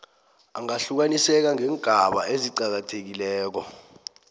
angahlukaniseka ngeengaba eziqakathekileko